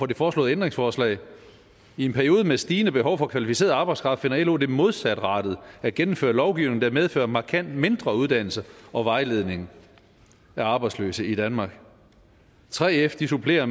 det foreslåede ændringsforslag i en periode med stigende behov for kvalificeret arbejdskraft finder lo det modsatrettet at gennemføre lovgivning der medfører markant mindre uddannelse og vejledning af arbejdsløse i danmark 3f supplerer og